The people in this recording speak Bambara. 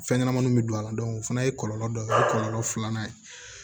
Fɛn ɲɛnɛmaniw bɛ don a la o fana ye kɔlɔlɔ dɔ ye o ye kɔlɔlɔ filanan ye